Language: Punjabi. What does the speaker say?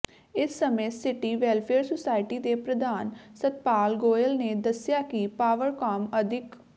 ਇਸ ਸਮੇਂ ਸਿਟੀ ਵੈੱਲਫੇਅਰ ਸੁਸਾਇਟੀ ਦੇ ਪ੍ਰਧਾਨ ਸੱਤਪਾਲ ਗੋਇਲ ਨੇ ਦੱਸਿਆ ਕਿ ਪਾਵਰਕਾਮ ਅਧਿਕ